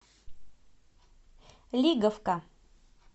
лиговка